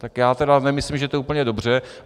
Tak já tedy nemyslím, že to je úplně dobře.